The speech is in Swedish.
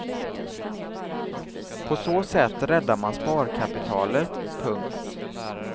På så sätt räddar man sparkapitalet. punkt